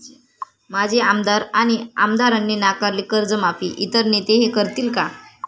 माजी आमदार आणि आमदारांनी नाकारली कर्जमाफी, इतर नेते हे करतील का?